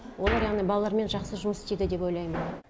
олар яғни балалармен жақсы жұмыс істейді деп ойлаймын